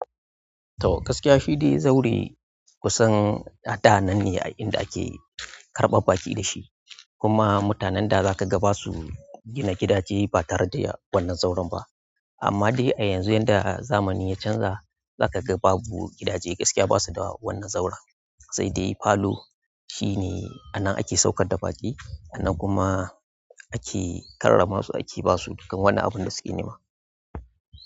To gaskiya shi dai zaure kusan a da nan ne in da ake karɓar baƙi da shi, kuma mutanen da za ka ga ba su gina gidaje ba tare da wannan zauren ba. Amma dai a yanzu, yanda zamani ya canza, za ka ga babu, gidaje gaskiya ba su da wannan zaura. Sai dai falo shine a nan ake saukar da baƙi, a nan kuma ake karrama su, ake ba su dukkan wani abin da suke nema.